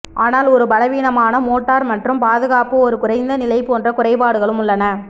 ஆனால் ஒரு பலவீனமான மோட்டார் மற்றும் பாதுகாப்பு ஒரு குறைந்த நிலை போன்ற குறைபாடுகளும் உள்ளன